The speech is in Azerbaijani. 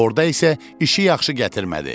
Orda isə işi yaxşı gətirmədi.